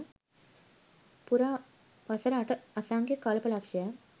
පුරා වසර අට අසංඛ්‍ය කල්ප ලක්ෂයක්